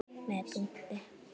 Með punkti.